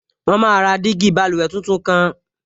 Wọ́n máa ra jígí báluwẹ̀ tuntun kan